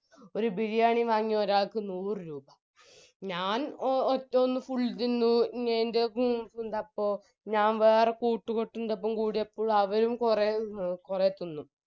ഒരു ബിരിയാണി വാങ്ങി ഒരാൾക്ക് നൂറുരൂപ ഞാൻ എ ഒറ്റയൊന്ന് full തിന്ന് എൻറെ ഫു ന്താപ്പോ ഞാ വേറെ കൂട്ടുകെട്ടിന്റൊപ്പം കൂടിയപ്പോ അവരും കൊറേ എ കൊറേ തിന്നു